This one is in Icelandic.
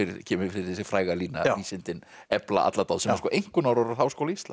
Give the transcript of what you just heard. kemur fyrir þessi fræga lína vísindin efla alla dáð sem eru sko einkunnarorð Háskóla Íslands